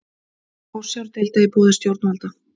Forsjárdeila á borði stjórnvalda